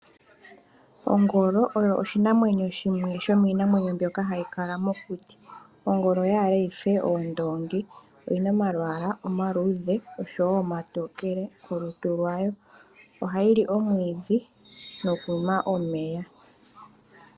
Ongolo oyo shimwe shomiinamwenyo mbyoka hayi kala mokuti. Ongolo oyaale yife oondongi. Oyina omalwaala omaludhe oshowo omatokele kolutu lwayo. Ohayi li omwiidhi noku nwa omeya.